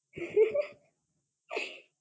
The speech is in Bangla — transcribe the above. হাহাহা